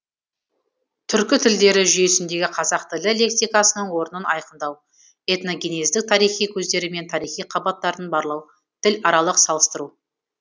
түркі тілдері жүйесіндегі қазақ тілі лексикасының орнын айқындау этногенездік тарихи көздері мен тарихи қабаттарын барлау тіларалық салыстыру